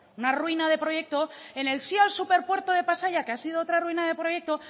una ruina de proyecto en el sí al superpuerto de pasaia que ha sido otra ruina de proyecto